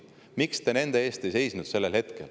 Miks te nende eest sellel hetkel ei seisnud?